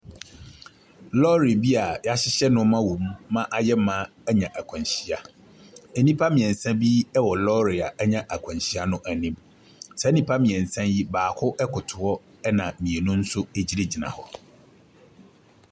Lɔre bi a wɔahyehyɛ nneɛma wom ma no ayɛ ma anya akwanhyia. Nnipa mmeɛnsa bi wɔ lɔre a anya akwanhyia no anim. Saa nnipa mmeɛnsa yi, baako koto hɔ na mmienu nso gyinagyina hɔ.